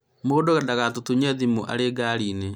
mũndũ ndagagũtũnye thimũ ũrĩ ngarĩinĩ